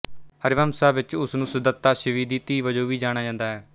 ਹਰਿਵਮਸਾ ਵਿਚ ਉਸ ਨੂੰ ਸੂਦੱਤਾ ਸ਼ਿਬੀ ਦੀ ਧੀ ਵਜੋਂ ਵੀ ਜਾਣਿਆ ਜਾਂਦਾ ਹੈ